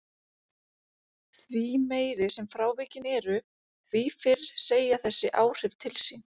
Því meiri sem frávikin eru því fyrr segja þessi áhrif til sín.